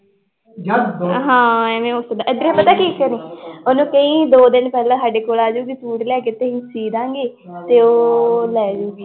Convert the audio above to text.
ਹਾਂ ਇਵੇਂ ਹੋ ਸਕਦਾ ਇੱਧਰੋਂ ਪਤਾ ਕੀ ਕਰੀ ਉਹਨੂੰ ਕਹੀਂ ਦੋ ਦਿਨ ਪਹਿਲਾਂ ਸਾਡੇ ਕੋਲ ਆ ਜਾਊਗੀ ਸੂਟ ਲੈ ਕੇ ਤੇ ਅਸੀਂ ਸੀਅ ਦੇਵਾਂਗੇ ਤੇ ਉਹ ਲੈ ਜਾਊਗੀ